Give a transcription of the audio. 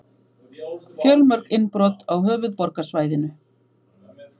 Fjölmörg innbrot á höfuðborgarsvæðinu